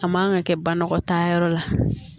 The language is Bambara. A man kan ka kɛ banɔgɔ tanya yɔrɔ la